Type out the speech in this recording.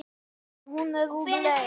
Hérna Sif mín.